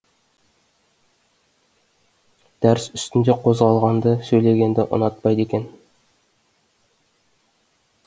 дәріс үстінде қозғалғанды сөйлегенді ұнатпайды екен